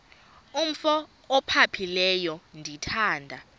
umf ophaphileyo ndithanda